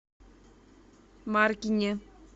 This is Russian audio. маркине